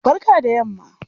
Barka da yamma.